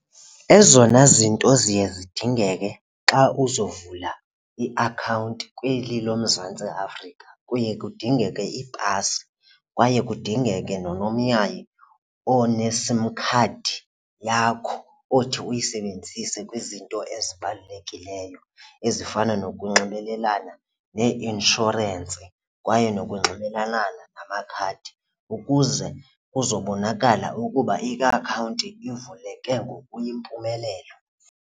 Ezona zinto ziye zidingeke xa uzovula iakhawunti kweli loMzantsi Afrika kuye kudingeke ipasi kwaye kudingeke nonomyayi oneSIM card yakho othi uyisebenzise kwizinto ezibalulekileyo, ezifana nokunxibelelana neeinshorensi kwaye nokunxibelelana namakhadi ukuze kuzobonakala ukuba iakhawunti ivuleke ngokuyimpumelelo.